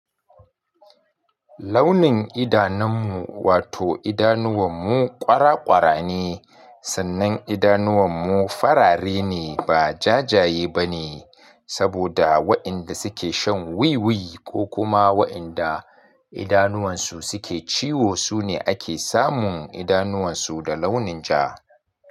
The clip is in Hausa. Launin idanammu wato idanuwanmu ƙwara ƙwara ne, sannan idanuwanmu farare ne ba jajaye bane, saboda wa'inda suke shan wiwi ko kuma wa'inda idanuwansu suke ciwo sune ake samun idanuwansu da launin ja.